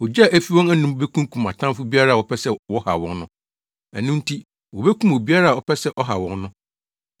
Ogya a efi wɔn anom bekunkum atamfo biara a wɔpɛ sɛ wɔhaw wɔn no. Ɛno nti wobekum obiara a ɔpɛ sɛ ɔhaw wɔn no.